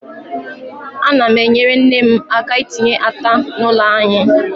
Ana m enyere nne m aka itinye ata n' ụlọ anyị.